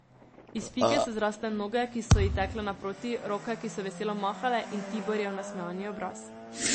Iz pike so zrasle noge, ki so ji tekle naproti, roke, ki so veselo mahale, in Tiborjev nasmejani obraz.